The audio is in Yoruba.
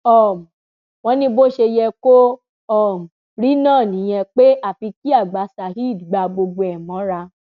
um wọn ní bó ṣe yẹ kó um rí náà nìyẹn pé àfi kí àgbà saheed gbá gbogbo ẹ mọra